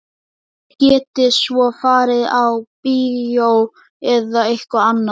Þið getið svo farið á bíó eða eitthvað annað.